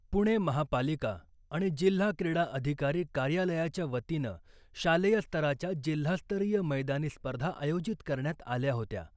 पुणे महापालिका आणि जिल्हा क्रीडा अधिकारी कार्यालयाच्या वतीनं शालेय स्तराच्या जिल्हास्तरीय मैदानी स्पर्धा आयोजित करण्यात आल्या होत्या .